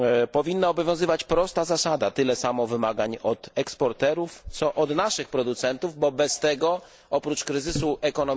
Powinna obowiązywać prosta zasada tyle samo wymagań od eksporterów, co od naszych producentów, bo bez tego oprócz kryzysu ekonomicznego